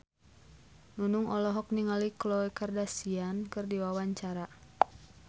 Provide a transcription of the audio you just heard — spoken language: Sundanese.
Nunung olohok ningali Khloe Kardashian keur diwawancara